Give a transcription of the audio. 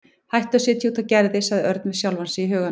Hættu að setja út á Gerði sagði Örn við sjálfan sig í huganum.